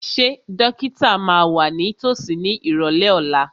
Ṣé dókítà máa wà ní tòsí ní ìrọ̀lẹ́ ọ̀la?